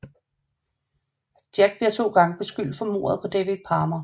Jack bliver to gange beskyldt for mordet på David Palmer